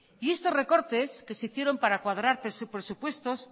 y estos recortes que se hicieron para cuadrar presupuestos